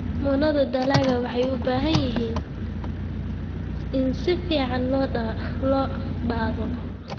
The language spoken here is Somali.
Muunada dalagga waxay u baahan yihiin in si fiican loo baadho.